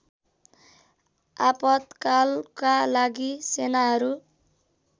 आपातकालका लागि सेनाहरू